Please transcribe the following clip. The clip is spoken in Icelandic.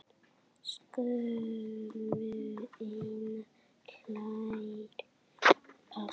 Skömmu seinna hlær pabbi.